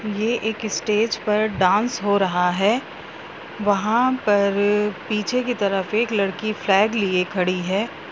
ये एक स्टेज पर डाँस हो रहा है। वहां पर पीछे की तरफ एक लड़की फ्लैग लिए खड़ी है।